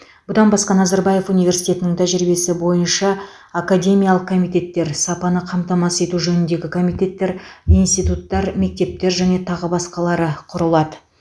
бұдан басқа назарбаев университетінің тәжірибесі бойынша академиялық комитеттер сапаны қамтамасыз ету жөніндегі комитеттер институттар мектептер және тағы басқалары құрылады